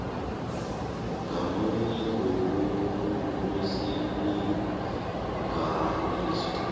ngamunye ngobukhulu besilinganiso